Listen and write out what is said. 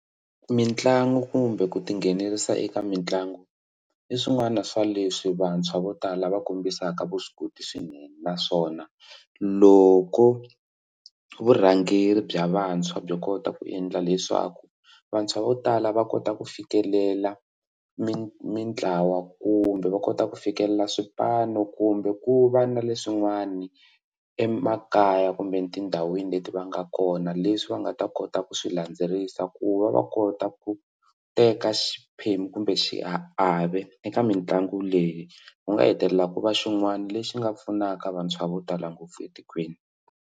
Mitlangu kumbe ku tinghenelerisa eka mitlangu i swin'wana swa leswi vantshwa vo tala va kombisaka vuswikoti swinene naswona loko vurhangeri bya vantshwa byo kota ku endla leswaku vantshwa vo tala va kota ku fikelela mi mitlawa kumbe va kota ku fikelela swipanu kumbe ku va na leswin'wana emakaya kumbe etindhawini leti va nga kona leswi swi va nga ta kota ku swi landzelerisa ku va va kota ku teka xiphemu kumbe xiave eka mitlangu leyi ku nga hetelela ku va xin'wana lexi nga pfunaka vantshwa vo tala ngopfu etikweni.